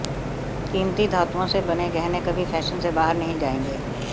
कीमती धातुओं से बने गहने कभी फैशन से बाहर नहीं जाएंगे